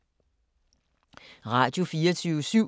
Radio24syv